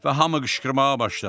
və hamı qışqırmağa başladı.